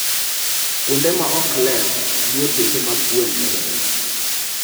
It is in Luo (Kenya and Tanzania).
Kuonde ma ok ler, miyo tuoche mag gwen medore.